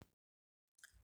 Shin yajin ayki na amfani ga ma'akan gwamnati yajin ayki wani mataki ne da ma'aykata ke dauka idan suka gaji da halin da suke ciki a wuraran ayki wannan na nufin dakatar da zuwa ayki na wani lokaci domin ba bayyana matsalarsu ko neman hakkokinsu da aka tauye yana da matukar mahimmanci a fahimci cewa ma'aykatan Gwamnati suna cikin wadanda ke da dama shiga cikin yajin i ayki idan lamarin ya kai matakin da ba a iya shawo kansa ta hanyar tattaunawa yawancin ma'aykatan Gwamnati su ne malamai ma'aykatan asibiti masu aykin gwamnati a ma'aykatun gwamnati daban-daban da sauransu wadannan su ne ke gudanar da ayki na yau da kullum da ke tabbatar da cewa gwamnati na tafiya yadda ya kamata idan aka ce sun shiga yajin ayki idan aka ce sun shiga yajin ayki hakan na nufin ana fama da matsala mai girma kuma suna kokarin jawo hankalin Gwamnati kan wata bukata ko rashin adalci da suka fuskanta yajin ayki nada amfani ga ma'aykatan gwamnati ta hanyoyi da dama hanya ta daya kara hakkin ma'aykata yajin ayki wata hanya ce da ma'aykatan Gwamnati ke amfani da ita domin kare hakkin su idan gwamnati ta kasa biyan albashi kudin fansho hakkin girma ko tauye musu hakkoki kaman kayan ayki kariyan lafiya da dai sauran su idan babu irin wannan mataki da yawancin Gwamnati za su cigaba da nuna halin ko in kula ga bukatun ma'aykatan su hanya ta biyu tilasta gwamnati yin gyara a tarihi sau da Gwamnati na yin gyara ne kawai idan aka dauki dauki matakin yajin ayki misali idan malamai sun yi yajin ayki saboda rashin biyan alawus ko karin albashi yakan tilasta Gwamnati ta sake nazari ta kuma fito da saban tsari domin gyara matsalan wannan yana nuni da cewa yajin ayki wata hanya ce da Gwanati ta ji korafin ma'aykata hanya ta uku karin hadiin kai da karfafa gwaiwa yajin ayki na temakawa ma'aykatan Gwamnati su su hadu cikin kungiya su koyi tsayawa tsayin daka wajan neman hakkin su idan akwai rashin hadin ka Gwamnati za ta fi saukin tauye hakkin mutane amma idan akayi yajin ayki tare da hadin kai yana karfafa gwewan ma'aykata ya kuma su zama da tasiri hanya ta hudu temakawa sabbin ma'aykata wani lokaci yajin ayki bawai dan ma'aykata da ke ayki yanzu bane kawai yana iya zama dan kare hakkin wanda za su shiga aykin Gwamnati nan gaba idan Gwamnati ta saba tauya albashi ko ta hana karin girma to sabbin ma'aykata suma za su fiskanci haka amma amma idan ana yajin ayki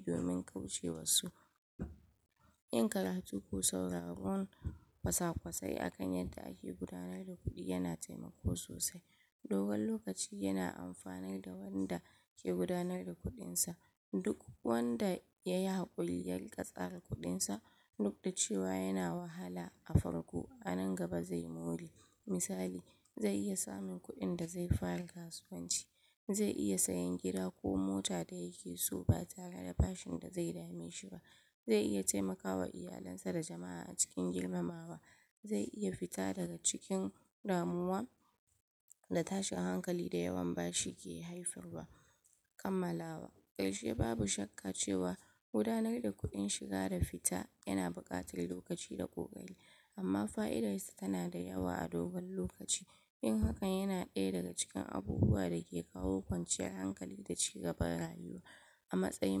domin canza tsari wannan yana amfanarwa duk wanda zai shiga aykin a gaba amma yajin ayki na bukatan hankali da doka ko da yake yajin ayki yana da amfani, amma yana bukatar yin sa cikin doka da ka'ida ba za a iya yin yajin ayki yadda ake so ba dole ne a sanar da Gwamnati da lokaci a bi matakan tattaunawa kafin daukan matakin karshe haka kuma yajin ayki bai kamata ya hana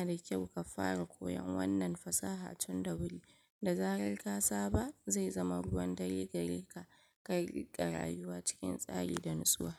ayyukan lafiya, ko walwalan jama'a ba gaba daya mu samman idan rayuka na cikin hadari a takaice yajin ayki na da matukar amfani i ga ma'aykatan Gwamnati wajan kare hakkinsu samun daidaito da tilastawa Gwamnat da tilastawa yin gyare-gyare amma yana bukatan bin doka fahimta da hadin kai domin kar ya koma matsala mai makon mafita